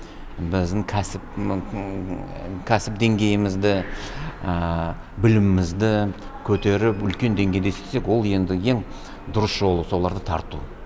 біздің кәсіп деңгейімізді білімімізді көтеріп үлкен деңгейде істесек ол енді ең дұрыс жолы соларды тарту